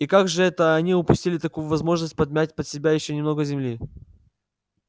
и как же это они упустили такую возможность подмять под себя ещё немного земли